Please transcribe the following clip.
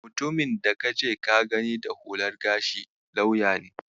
Mutumin da kace ka gani da hular gashi lauya ne.